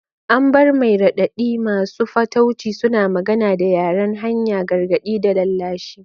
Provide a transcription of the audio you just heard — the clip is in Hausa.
Amber mai raɗaɗi, masu fatauci, suna magana da yaren hanya, gargaɗi da lallashi.